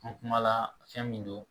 An kumana fɛn min don